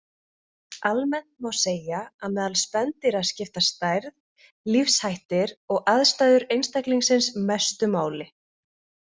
Almennt má segja að meðal spendýra skipta stærð, lífshættir og aðstæður einstaklingsins mestu máli.